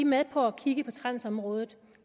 med på at kigge på transområdet